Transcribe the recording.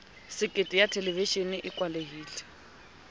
sekete ya thelevishene e kwalehileng